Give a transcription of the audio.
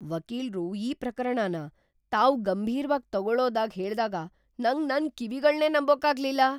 ವಕೀಲ್ರು ಈ ಪ್ರಕರಣನ ತಾವ್ ಗಂಭೀರ್ವಾಗ್ ತಗೊಳೋದಾಗ್ ಹೇಳ್ದಾಗ ನಂಗ್ ನನ್ ಕಿವಿಗಳ್ನೇ ನಂಬೋಕಾಗ್ಲಿಲ್ಲ.